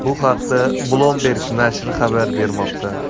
Bu haqda Bloomberg nashri xabar bermoqda .